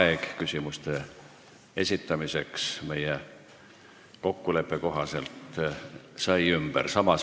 Aeg küsimuste esitamiseks, mis oli ette nähtud meie kokkuleppe kohaselt, sai ümber.